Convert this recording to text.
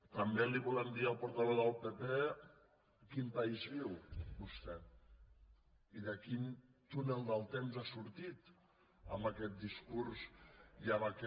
també li volem dir al portaveu del pp a quin país viu vostè i de quin túnel del temps ha sortit amb aquest discurs i amb aquest